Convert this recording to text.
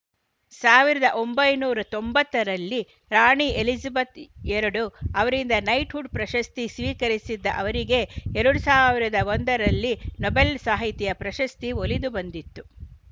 ಸಾವಿರದ ಒಂಬೈನೂರ ತೊಂಬತ್ತರಲ್ಲಿ ರಾಣಿ ಎಲಿಜಬೆತ್‌ ಎರಡು ಅವರಿಂದ ನೈಟ್‌ಹುಡ್‌ ಪ್ರಶಸ್ತಿ ಸ್ವೀಕರಿಸಿದ್ದ ಅವರಿಗೆ ಎರಡ್ ಸಾವಿರದ ಒಂದರಲ್ಲಿ ನೊಬೆಲ್‌ ಸಾಹಿತ್ಯ ಪ್ರಶಸ್ತಿ ಒಲಿದು ಬಂದಿತ್ತು